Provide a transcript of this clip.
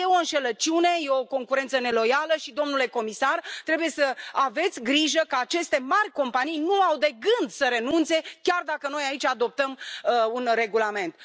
E o înșelăciune, e o concurență neloială și, domnule comisar, trebuie să aveți grijă că aceste mari companii nu au de gând să renunțe, chiar dacă noi aici adoptăm un regulament.